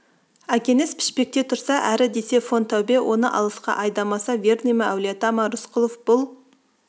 әкеңіз пішпекте тұрса әрі десе фон тәубе оны алысқа айдамаса верный ма әулиеата ма рысқұлов бұл